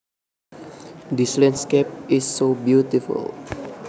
This landscape is so beautiful